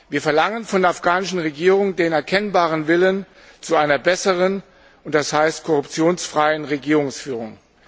Wir verlangen von der afghanischen Regierung den erkennbaren Willen zu einer besseren, das heißt korruptionsfreien, Regierungsführung.